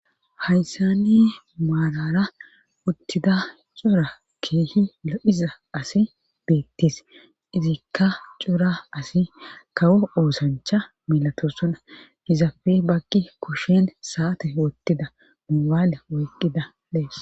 haysani maarara uttida cora kehi lo7iza asi beettes izikka cora asi kawo oosancha milatossona hizapfe bagqi kushin saate wottida mubaale oyqqida dees.